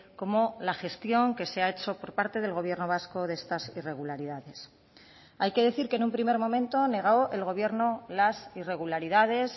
como la gestión que se ha hecho por parte del gobierno vasco de estas irregularidades hay que decir que en un primer momento negó el gobierno las irregularidades